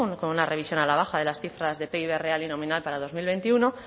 con una revisión a la baja de las cifras de pib real y nominal para dos mil veintiuno